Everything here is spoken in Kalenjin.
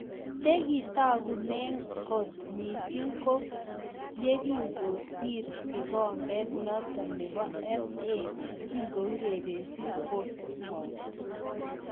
Chekitagune koot mising ko yekingosir kikombeet notok neboo FA kourerenchini portsmouth